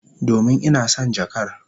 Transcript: Domin ina son jakar.